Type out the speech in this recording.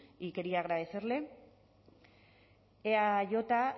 y quería agradecerle eaj